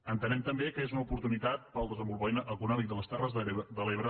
entenem també que és una oportunitat per al desenvolupament econòmic de les terres de l’ebre